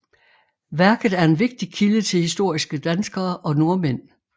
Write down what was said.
Værket er en vigtig kilde til historiske danskere og nordmænd